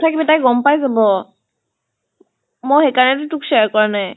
তাই গম পাই যাব। মই সেই কাৰণে টো তোক share কৰা নাই।